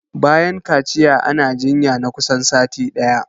Bayan kaciya ana jinya na kusan sati ɗaya